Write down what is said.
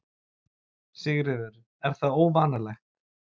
Sigríður: Er það óvanalegt?